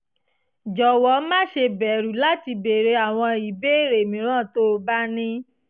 jọ̀wọ́ má ṣe bẹ̀rù láti béèrè àwọn ìbéèrè mìíràn tó o bá ní